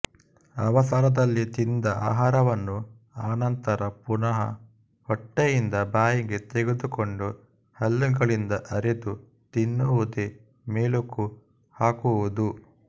ಅವಸರದಲ್ಲಿ ತಿಂದ ಆಹಾರವನ್ನು ಅನಂತರ ಪುನಃ ಹೊಟ್ಟೆಯಿಂದ ಬಾಯಿಗೆ ತೆಗೆದುಕೊಂಡು ಹಲ್ಲುಗಳಿಂದ ಅರೆದು ತಿನ್ನುವುದೇ ಮೆಲುಕು ಹಾಕುವುದು